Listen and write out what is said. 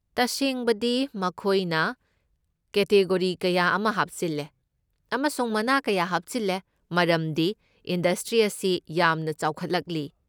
ꯇꯁꯦꯡꯕꯗꯤ ꯃꯈꯣꯏꯅ ꯀꯦꯇꯤꯒꯣꯔꯤ ꯀꯌꯥ ꯑꯃꯥ ꯍꯥꯞꯆꯤꯜꯂꯦ ꯑꯃꯁꯨꯡ ꯃꯅꯥ ꯀꯌꯥ ꯑꯃ ꯍꯥꯞꯆꯤꯜꯂꯦ ꯃꯔꯝꯗꯤ ꯏꯟꯗꯁꯇ꯭ꯔꯤ ꯑꯁꯤ ꯌꯥꯝꯅ ꯆꯥꯎꯈꯠꯂꯛꯂꯤ꯫